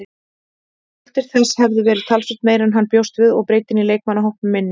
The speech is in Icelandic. Skuldir þess hefðu verið talsvert meiri en hann bjóst við og breiddin í leikmannahópnum minni.